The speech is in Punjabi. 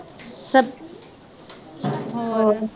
ਹੋਰ